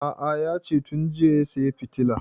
A'a yace tun jiya ya saya fitilan